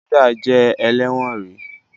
Hilda jé ẹlẹwọn rí